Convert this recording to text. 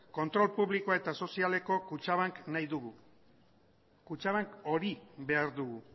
kontrol publikoa eta sozialeko kutxabank nahi dugu kutxabank hori behar dugu